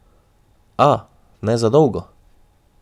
A, ne za dolgo.